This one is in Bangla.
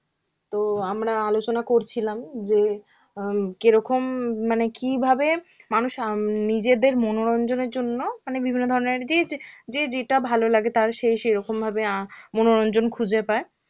তো আমরা আলোচনা করছিলাম যে অ্যাঁ কিরকম মানে কি ভাবে মানুষ উম নিজেদের মনোরঞ্জনের জন্য মানে বিভিন্ন ধরনের যে যে যেটা ভালো লাগে তার সেই সেই রকম ভাবে অ্যাঁ মনোরঞ্জন খুঁজে পায়.